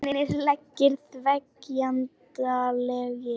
Loðnir leggirnir þegjandalegir.